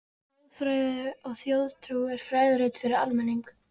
ÞJÓÐFRÆÐI OG ÞJÓÐTRÚ er fræðirit fyrir almenning.